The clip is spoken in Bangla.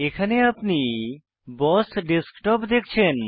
এখানে আপনি বস ডেস্কটপ দেখছেন